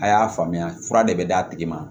A y'a faamuya fura de bɛ d'a tigi ma